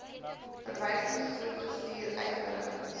verwysingsgroep gestuur uitnodigings